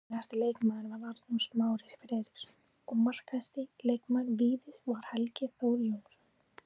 Efnilegasti leikmaður var Arnór Smári Friðriksson og markahæsti leikmaður Víðis var Helgi Þór Jónsson.